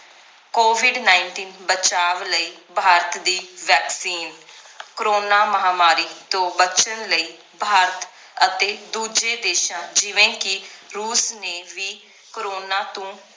covid nineteen ਬਚਾਵ ਕਈ ਭਾਰਤ ਦੀ vaccine ਕਰੋਨਾ ਮਹਾਮਾਰੀ ਤੋਂ ਬਚਨ ਲਈ ਭਾਰਤ ਅਤੇ ਦੂਜੇ ਦੇਸ਼ਾਂ ਜਿਵੇਂ ਕਿ ਰੂਸ ਨੇ ਵੀ ਕਰੋਨਾ ਤੋਂ